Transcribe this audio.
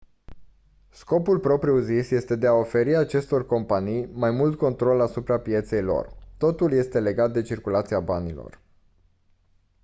scopul propriu-zis este de a oferi acestor companii mai mult control asupra pieței lor totul este legat de circulația banilor